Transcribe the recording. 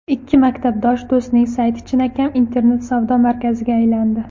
Ikki maktabdosh do‘stning sayti chinakam internet-savdo markaziga aylandi.